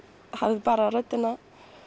hef bara röddina